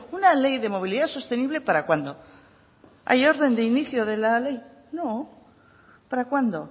una ley de movilidad sostenible para cuándo hay orden de inicio de la ley no para cuándo